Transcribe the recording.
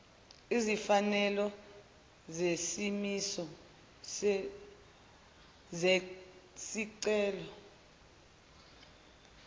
izimfanelo zesimiso zesicelo